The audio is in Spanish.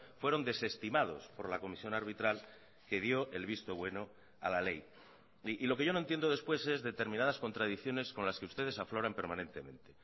fueron desestimados por la comisión arbitral que dio el visto bueno a la ley y lo que yo no entiendo después es determinadas contradicciones con las que ustedes afloran permanentemente